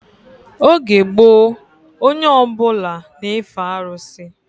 Oge gboo onye ọbụla na-efe arụsị